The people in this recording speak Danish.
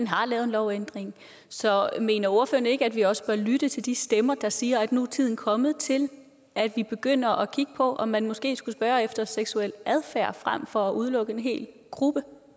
har lavet en lovændring så mener ordføreren ikke at vi også bør lytte til de stemmer der siger at nu er tiden kommet til at vi begynder at kigge på om man måske skulle spørge efter seksuel adfærd frem for at udelukke en hel gruppe